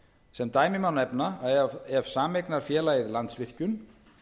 sem dæmi má nefna ef að sameignarfélagið landsvirkjun